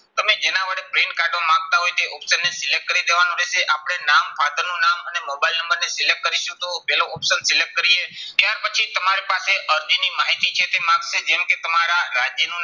તમે જેના વડે print કાઢવા માંગતા હોય તે option ને select કરી દેવાનો રહેશે. આપણે નામ father નું નામ અને મોબાઈલ નંબર ને select કરીશું, તો પહેલું option કરીએ. ત્યાર પછી તમારી પાસે અરજીની માહિતી છે તે માંગશે. જેમ કે તમારા રાજ્યનું નામ